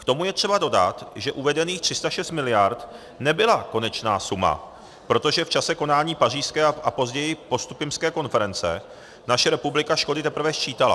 K tomu je třeba dodat, že uvedených 306 miliard nebyla konečná suma, protože v čase konání pařížské a později postupimské konference naše republika škody teprve sčítala.